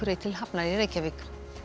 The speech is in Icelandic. til hafnar í Reykjavík